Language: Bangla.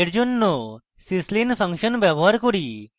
we জন্য আমরা syslin ফাংশন ব্যবহার করি